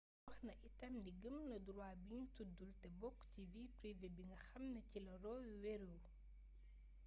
waxna itam ni gëm na droit bi ñu tuddul te bokk ci vie privé bi nga xamni ci la roe wéeru